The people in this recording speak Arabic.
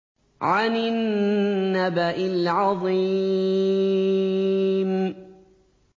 عَنِ النَّبَإِ الْعَظِيمِ